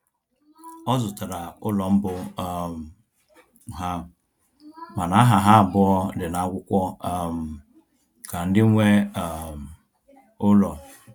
Ọ zụtara ụlọ mbụ um ha, mana aha ha abụọ dị n'akwụkwọ um ka ndị nwe um ụlọ